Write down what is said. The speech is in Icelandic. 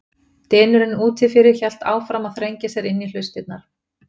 Dynurinn úti fyrir hélt áfram að þrengja sér inn í hlustirnar.